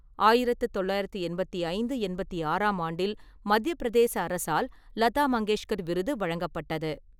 ஆயிரத்து தொள்ளாயிரத்து எண்பத்தி ஐந்து, எண்பத்தி ஆறாம் ஆண்டில் மத்தியப் பிரதேச அரசால் லதா மங்கேஷ்கர் விருது வழங்கப்பட்டது.